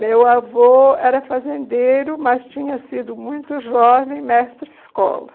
Meu avô era fazendeiro, mas tinha sido muito jovem, mestre escola.